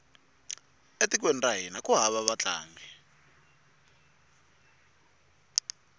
e tikweni ra hina ku hava vatlangi